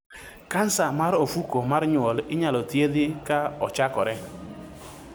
Kansa mar ofuko mar nyuol inyalo thiedhi ka ochakore.